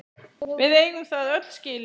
Við eigum það öll skilið!